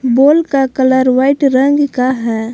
बोल का colour white रंग का है।